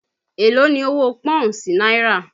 Èló ni owó Pọ́ùn sí náírà?